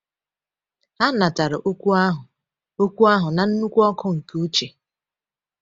Ha “natara okwu ahụ okwu ahụ na nnukwu ọkụ nke uche.”